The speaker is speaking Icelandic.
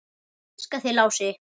Ég elska þig, Lási.